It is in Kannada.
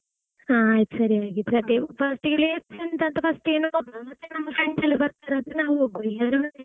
ಆ ಆಯ್ತು ಸರಿ ಹಾಗಿದ್ರೆ. ಅದೇ first ಗೆ place ಎಂತಂತ first ಗೆ ನೋಡು ಮತ್ತೆ ನಮ್ಮ friends ಎಲ್ಲಾ ಬರ್ತಾರದ್ರೆ ನಾವು ಹೋಗುವ ಇಲ್ಲದ್ರೆ ಬೇಡ.